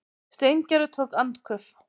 Steingerður tók andköf.